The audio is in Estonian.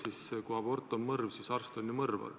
Aga kui abort on mõrv, siis arst on ju mõrvar.